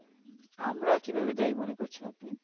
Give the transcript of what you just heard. আমরা কিভাবে দায়ি মনে করছেন আপনি